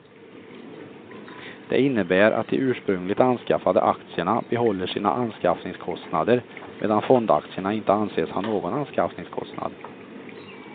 Det innebär att de ursprungligt anskaffade aktierna behåller sina anskaffningskostnader medan fondaktierna inte anses ha någon anskaffningskostnad.